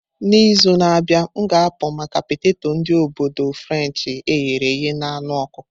N'izu na-abịa, m ga-apụ maka peteto ndi obodu Frenshi eghere eghe na anu ọkụkọ.